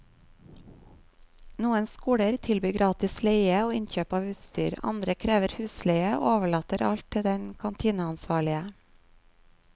Noen skoler tilbyr gratis leie og innkjøp av utstyr, andre krever husleie og overlater alt til den kantineansvarlige.